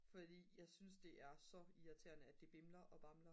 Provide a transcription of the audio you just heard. fordi jeg synes det er så irriterende at det bimler og bamler